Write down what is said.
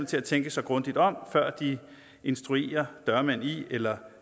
til at tænke sig grundigt om før de instruerer dørmænd i eller